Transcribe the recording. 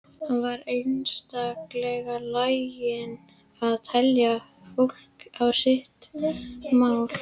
Hann var einstaklega laginn að telja fólk á sitt mál.